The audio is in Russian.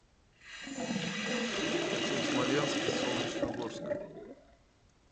хочу в смоленск из солнечногорска